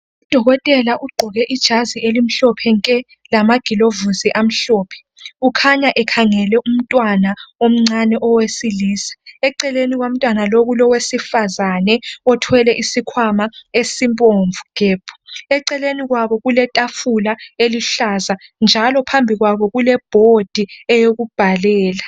Udokotela ugqoke ijazi elimhlophe nke lamagilovisi amhlophe. Ukhanya ekhangele umntwana omncane owesilisa, eceleni komntwana lo kulo wesifazane othwele isikhwama esibomvu gebhu. Eceleni kwabo itafula eluhlaza njalo phambi kwabo kulebhodi eyokubhalela.